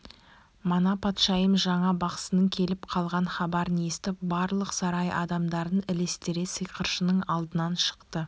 мана патшайым жаңа бақсының келіп қалған хабарын естіп барлық сарай адамдарын ілестіре сиқыршының алдынан шықты